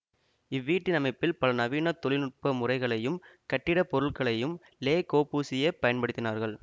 இவ்வீட்டின் அமைப்பில் பல நவீன தொழில் நுட்ப முறைகளையும் கட்டிடப்பொருட்களையும் லே கொபூசியே பயன்படுத்தினார்